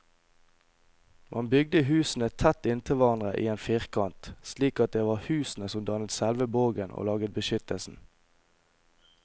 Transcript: Man bygde husene tett inntil hverandre i en firkant, slik at det var husene som dannet selve borgen og laget beskyttelsen.